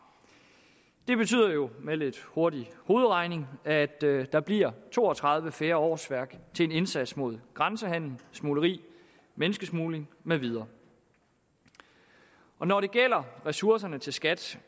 det betyder jo med lidt hurtig hovedregning at der bliver to og tredive færre årsværk til en indsats mod grænsehandel smugleri menneskesmugling med videre når det gælder ressourcerne til skat